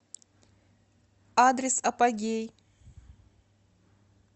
адрес апогей